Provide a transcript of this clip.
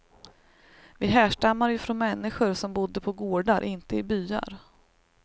Vi härstammar ju från människor som bodde på gårdar, inte i byar.